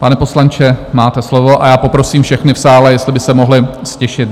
Pane poslanče, máte slovo a já poprosím všechny v sále, jestli by se mohli ztišit.